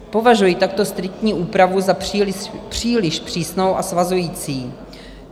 Považuji takto striktní úpravu za příliš přísnou a svazující.